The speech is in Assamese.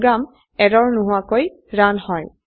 প্ৰোগ্ৰাম এৰৰ নোহোৱাকৈ ৰান হয়